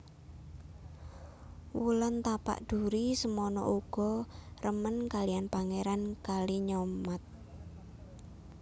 Wulan Tapak Duri semana uga remen kaliyan Pangèran Kalinyamat